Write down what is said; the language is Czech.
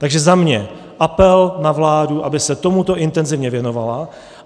Takže za mě apel na vládu, aby se tomuto intenzivně věnovala.